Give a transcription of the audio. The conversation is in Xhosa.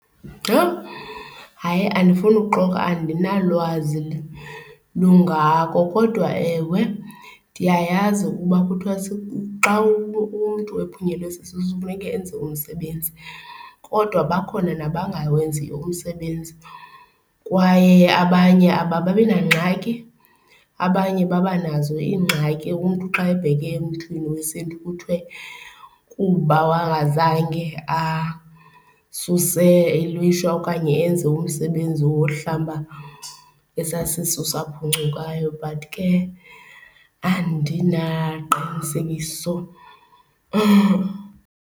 Yoh! Hayi, andifuni uxoka andinalwazi lungako. Kodwa ewe, ndiyayazi ukuba kuthiwa xa umntu ephunyelwe sisisu funeka enze umsebenzi kodwa bakhona nabangawenziyo umsebenzi kwaye abanye abababi nangxaki. Abanye babanazo iingxaki, umntu xa ebheke emntwini wesiNtu kuthiwe kuba wangazange asuse ilishwa okanye enze umsebenzi wohlamba esaa sisu saphuncukayo but ke andinaqinisekiso.